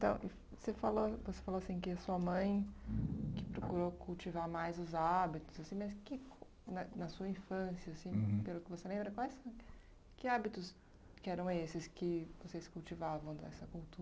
Então e você falou você falou assim que a sua mãe que procurou cultivar mais os hábitos assim, mas que na na sua infância assim, pelo que você lembra, quais que hábitos que eram esses que vocês cultivavam dessa